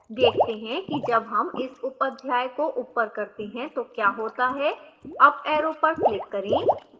देखते हैं कि जब हम इस upअध्याय को ऊपर करते हैं तो क्या होता है